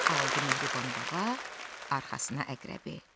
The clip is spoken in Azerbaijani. Aldı mehriban bağa arxasına əqrəbi.